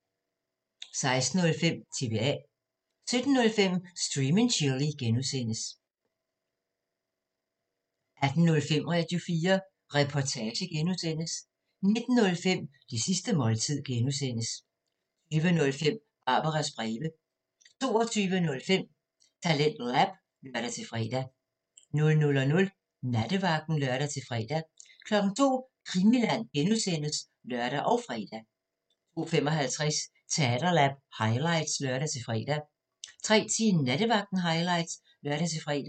16:05: TBA 17:05: Stream & Chill (G) 18:05: Radio4 Reportage (G) 19:05: Det sidste måltid (G) 20:05: Barbaras breve 22:05: TalentLab (lør-fre) 00:00: Nattevagten (lør-fre) 02:00: Krimiland (G) (lør og fre) 02:55: Talentlab highlights (lør-fre) 03:10: Nattevagten highlights (lør-fre)